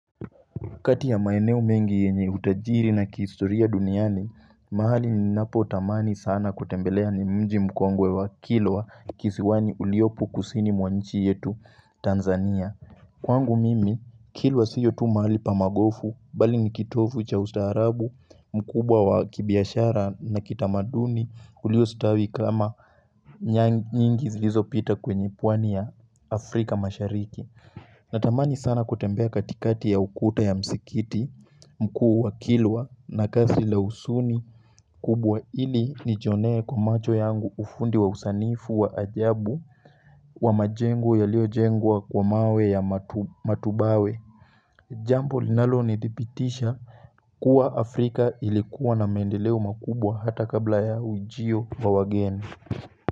Kati ya maeneo mengi yenye utajiri na kihistoria duniani, mahali ninapotamani sana kutembelea ni mji mkongwe wa kilwa kisiwani uliopo kusini mwa nchi yetu Tanzania. Kwangu mimi, kilwa sio tu mahali pa magofu, bali ni kitovu cha ustaarabu, mkubwa wa kibiashara na kitamaduni uliostawi kama nyingi zilizopita kwenye pwani ya Afrika mashariki. Natamani sana kutembea katikati ya ukuta ya msikiti mkuu wa kilwa na kasi la huzuni kubwa ili nijonee kwa macho yangu ufundi wa usanifu wa ajabu wa majengo yaliyojengwa kwa mawe ya matubawe Jambo linalonidhibitisha kuwa Afrika ilikuwa na mendeleo makubwa hata kabla ya ujio wa wageni.